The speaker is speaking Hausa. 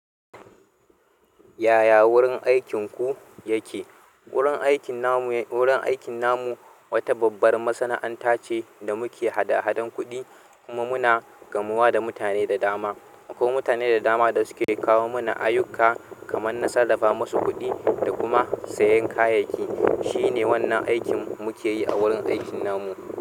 Yaya wurin aikinku yake? Wurin aikin namu, wurin aikin namu wata babbar masana'anta ce da muke haɗa hadan kuɗi kuma muna gamuwa da mutane da dama. Ko mutane da dama da suke kawo mana ayyuka kamar na sarrafa musu kuɗi da kuma sayan kayayyaki. Shine wannan aikin muke yi a wurin aikin namu.